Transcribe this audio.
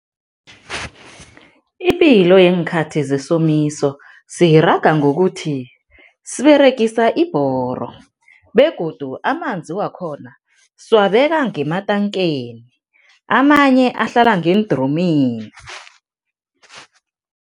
Ipilo yeenkhathi zesomiso siyiraga ngokuthi siberegisa ibhoro begodu amanzi wakhona siwabeka ngematankeni, amanye ahlala ngeendromini.